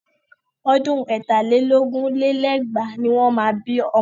Ọdún ẹ̀ta lé lógún lé lẹ́gbàá ni wọ́n máa bí ọmọ.